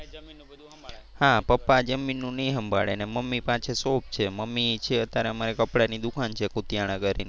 હા પપ્પા જમીન ને એ સંભાળે ને મમ્મી પાસે શોખ છે. મમ્મી છે અત્યારે અમારે કપડાં ની દુકાન છે કુટિયાણા કરી ને.